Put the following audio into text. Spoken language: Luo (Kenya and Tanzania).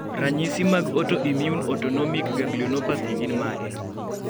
ranyisi mag autoimmune autonomic ganglionopathy gin mage?